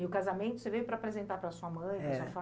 E o casamento você veio para apresentar para sua mãe, é, para sua